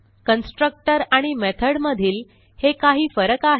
constructor आणि method मधील हे काही फरक आहेत